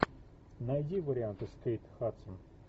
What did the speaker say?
найди варианты с кейт хадсон